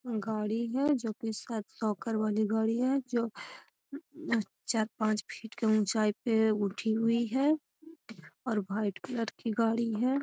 गाड़ी है जो की सायद नौकर वाली गाड़ी है जो म चार-पांच फीट की ऊंचाई पर उठी हुई है और भाईट कलर की गाड़ी है।